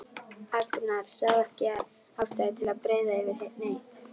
Agnar sá ekki ástæðu til að breiða yfir neitt.